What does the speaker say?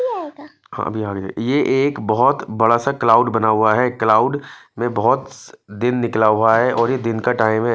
हामी आएगा हम्मी आएगा ये एक बोहोत बरासा क्लाउड बना हुआ हे क्लाउड में बोहोत दिन निकला हुआ हे और ये दिन का टाइम हे--